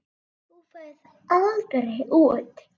Þú ferð aldrei út.